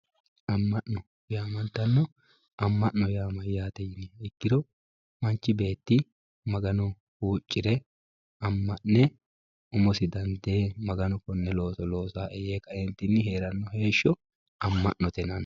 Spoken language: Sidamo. Ama'no yaamamantanno, ama'no yaa mayate yiniha ikkiro manchi beeti magano huucire ama'ne umosi dandee maganu kone looso loosae yee heeranno heesho ama'note yinanni